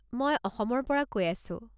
মই অসমৰ পৰা কৈ আছো।